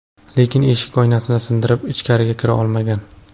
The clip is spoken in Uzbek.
Lekin eshik oynasini sindirib, ichkariga kira olmagan.